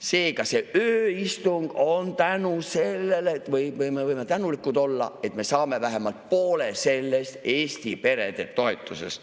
Seega selle ööistungi puhul me võime tänulikud olla, et me saame vähemalt poole sellest Eesti perede toetusest.